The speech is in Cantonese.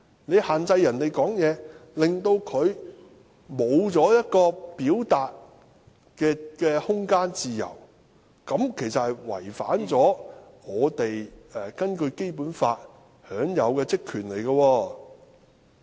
你限制議員發言，令他失去一個表達的空間和自由，其實是違反我們根據《基本法》享有的職權。